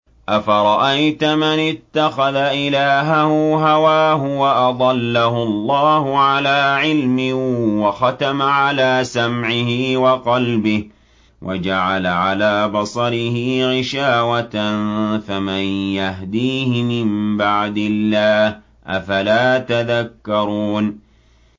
أَفَرَأَيْتَ مَنِ اتَّخَذَ إِلَٰهَهُ هَوَاهُ وَأَضَلَّهُ اللَّهُ عَلَىٰ عِلْمٍ وَخَتَمَ عَلَىٰ سَمْعِهِ وَقَلْبِهِ وَجَعَلَ عَلَىٰ بَصَرِهِ غِشَاوَةً فَمَن يَهْدِيهِ مِن بَعْدِ اللَّهِ ۚ أَفَلَا تَذَكَّرُونَ